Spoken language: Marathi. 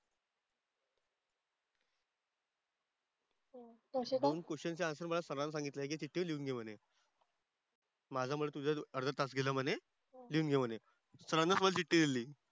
दोन क्वेश्चनचे आंसर्स मला सरांनी सांगितलंय की हे घे चिठ्ठीवर लिहून घे म्हणे. माझ्यामुळे तुझा जो अर्धा तास गेला म्हणे. लिहून घे म्हणे. सरांना पण चिठ्ठी दिलेली.